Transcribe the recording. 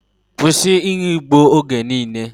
Kwusi inu igbo oge niile!